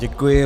Děkuji.